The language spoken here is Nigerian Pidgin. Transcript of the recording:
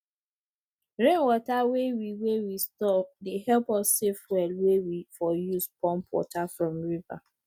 rainwater wey we wey we store dey help us save fuel wey we for use pump water from river